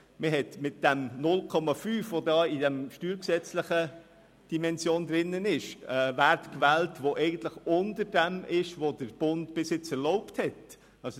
Mit den 0,5 SAK in der steuergesetzlichen Dimension wurde ein Wert gewählt, der unter dem bisher vom Bund erlaubten Wert liegt.